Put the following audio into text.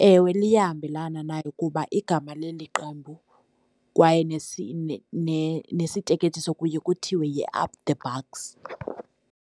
Ewe, liyahambelana nayo kuba igama leli qembu kwaye nesisiteketiso kuye kuthiwe yi-up the bucks.